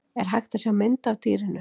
er hægt að sjá mynd af dýrinu